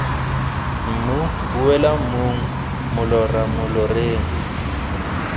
mmu boela mmung molora moloreng